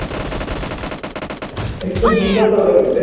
ଆରେ ସେ ଦିଟା productରେ